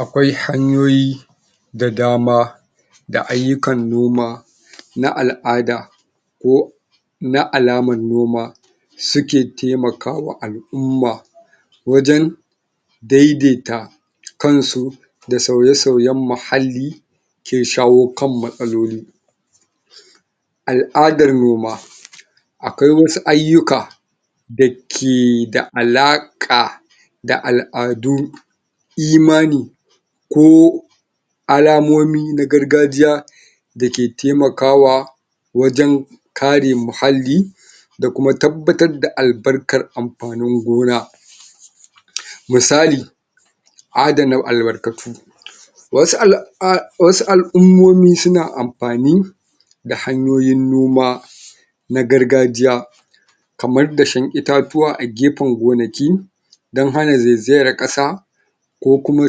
akwai hanyoyi da dama da aiyukan noma na al'ada ko na alaman noma suke taimakawa al'umma wajen daidaita kansu da sauye, sauyen muhalli kin shawo kan matsaloli al'adan noma akwai wasu aiyuka da kee da alaka da al'adu imani ko alamomin na gargajiya dake taimakawa wajen kare muhalli da kuma tabbatar da albarkan anfanin gona musali adana alkarkatu wasu al.. wasu alummomi, suna anafani da hanyoyin noma na gargajiya kaman dashen itatiwa a gefen gonaki dan hana zaizayan kasa ko kuma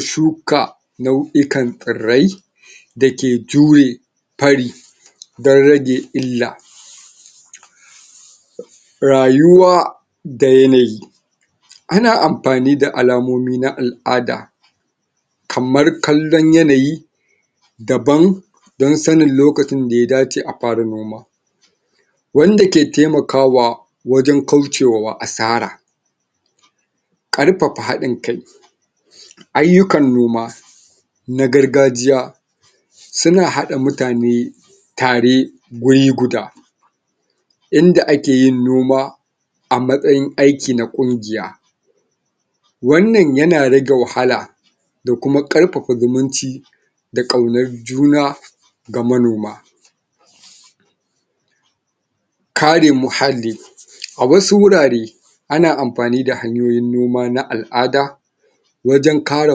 shuka nauikan tsirrai da ke jure fari dan ra ge illa rayuwa da yanayi ana anfani da alamomi na al'ada kamar kallon yanayi daban don sanin yaushe ya dace a fara noma wanda ke temakawa wajen kaucewa asara karfafa hadin kai aiyukan noma na gargajiya su na hada mutane tare guri guda inda ake yin noma a matsayin aiki na kungiya wan nan yana rage wahala da kuma karfafa zumunci da kaunan juna ga manoma kare muhalli a wasu hurare ana anfani da hanyoyin noma na al'ada wajen kare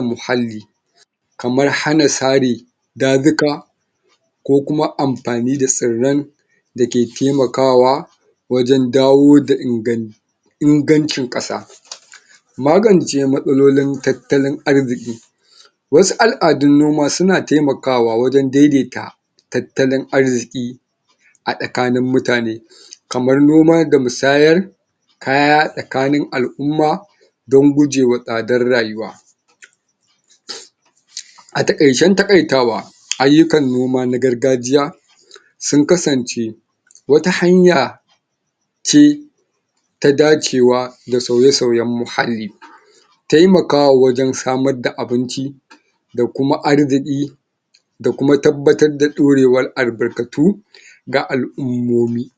muhalli kaman hana sare dajika ko kuma anfani da shirren dake taimakawa wajen dawo da ingan ingancin kasa magance matsalolin tattalin arziki wasu aladun noma suna taimakawa wajen daidaita tatalin arziki a tsakanin mutane kaman noma da musayar kaya tsakanin al'umma don gujema tsadar rayuwa a takaicen takaitawa aiyukan noma na gargajiya sun kasance wata hanya ce ta dacewa da sauye-sauyen muhalli taimakawa wajen samar da abinci da kuma arziki da kuma tabbatar da dorewan albarkatu ga al'ummomi